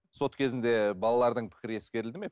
сот кезінде балалардың пікірі ескерілді ме